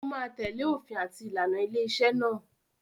ó ma tẹ̀lẹ́ òfin àti ìlànà ilé-iṣẹ́ náà.